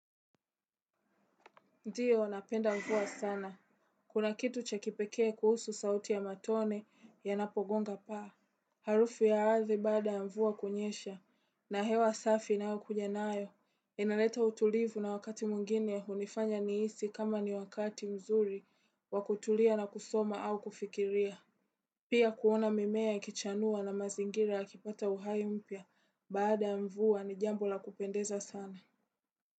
Ndiyo, napenda mvua sana. Kuna kitu cha kipekee kuhusu sauti ya matone yanapogonga paa. Harufu ya ardhi baada ya mvua kunyesha. Na hewa safi inayokuja nayo. Inaleta utulivu na wakati mwingine hunifanya nihisi kama ni wakati mzuri wa kutulia na kusoma au kufikiria. Pia kuona mimea yakichanua na mazingira yakipata uhai mpya baada ya mvua ni jambo la kupendeza sana.